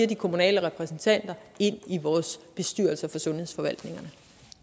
de kommunale repræsentanter i vores bestyrelser for sundhedsforvaltningerne